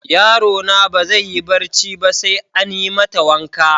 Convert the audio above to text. Yaro na ba zai yi barci ba sai an yi mata waka.